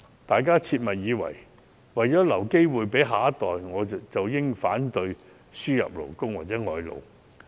大家切勿以為為了留機會給下一代，便應反對輸入勞工。